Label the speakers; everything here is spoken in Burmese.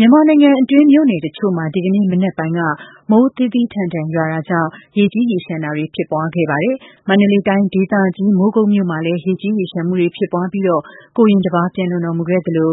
Speaker 1: မြန်မာနိုင်ငံအတွင်းက မြို့နယ်တချို့မှာ ဒီကနေ့မနက်ပိုင်းက မိုးသည်းထန်စွာ ရွာသွန်းမှုတွေကြောင့် ရေကြီးရေလျှံတာတွေ ဖြစ်ပွားခဲ့ပါတယ်။ မန္တလေးတိုင်းဒေသကြီး မိုးကုတ်မြို့ မှာလည်း ရေကြီးရေလျှံမှုတွေ ဖြစ်ပွားပြီး ကိုရင်တစ်ပါး ပျံလွန်တော်မူခဲ့သလို